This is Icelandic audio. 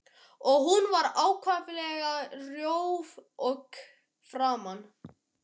Og hún var ákaflega rjóð í framan.